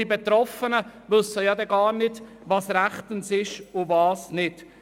Die Betroffenen wissen dann nicht, was rechtens ist und was nicht.